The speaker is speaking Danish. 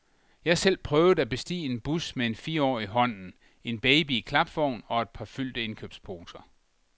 Jeg har selv prøvet at bestige en bus med en fireårig i hånden, en baby i klapvogn og et par fyldte indkøbsposer.